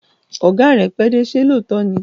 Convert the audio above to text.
Ọ̀gá rẹ pẹ́dé, ṣé lóòótọ́ ni?